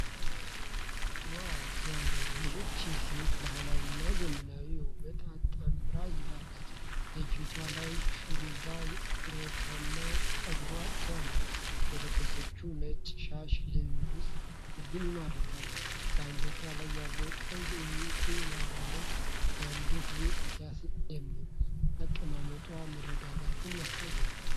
ዋው፣ ሲያምር! ይህች ሴት ባህላዊና ዘመናዊ ውበትን አጣምራ ይዛለች። የፊቷ ላይ ሽሩባና ኩርታማ ጸጉሯ ሲያምር፣ የለበሰችው ነጭ ሻሽ ልብን ይማርካል። በአንገቷ ላይ ያለው ቀይ ዕንቁ ያለው የአንገት ጌጥ ሲያስደምም፣ አቀማመጧ መረጋጋትን ያሳያል።